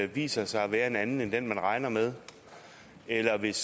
viser sig at være en anden end den man regner med eller hvis